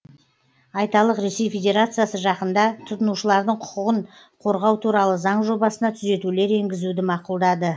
айталық ресей федерациясыжақында тұтынушылардың құқығын қорғаутуралы заң жобасына түзетулер енгізуді мақұлдады